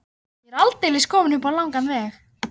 Ég er aldeilis kominn um langan veg.